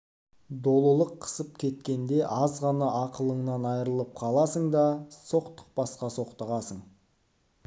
долылық қысып кеткенде аз ғана ақылыңнан айрылып қаласын да соқтықпасқа соқтығасың